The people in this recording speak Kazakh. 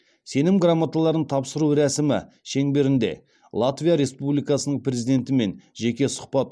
сенім грамоталарын тапсыру рәсімі шеңберінде латвия республикасының президентімен жеке сұхбат